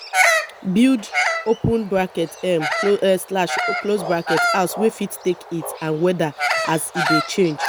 build um house wey fit take heat and weather as e dey change